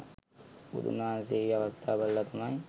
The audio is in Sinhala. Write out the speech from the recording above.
බුදුන් වහන්සේ ඒ ඒ අවස්ථා බලල තමයි